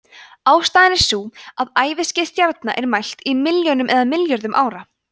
ástæðan er sú að æviskeið stjarna er mælt í milljónum eða milljörðum ára